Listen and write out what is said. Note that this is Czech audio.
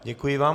Děkuji vám.